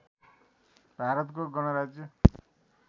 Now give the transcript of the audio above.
भारतको गणराज्य